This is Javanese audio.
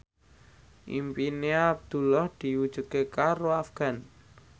impine Abdullah diwujudke karo Afgan